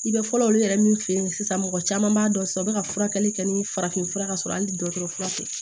I bɛ fɔlɔ olu yɛrɛ min fe yen sisan mɔgɔ caman b'a dɔn sisan u be ka furakɛli kɛ ni farafin fura ka sɔrɔ hali dɔgɔtɔrɔ tɛ